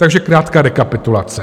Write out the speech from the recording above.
Takže krátká rekapitulace.